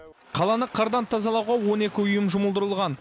қаланы қардан тазалауға он екі ұйым жұмылдырылған